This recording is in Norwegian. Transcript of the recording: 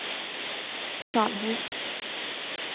Salhus